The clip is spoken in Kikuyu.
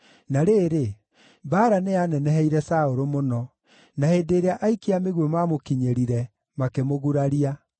Na rĩrĩ, mbaara nĩyaneneheire Saũlũ mũno, na hĩndĩ ĩrĩa aikia a mĩguĩ maamũkinyĩrire, makĩmũguraria.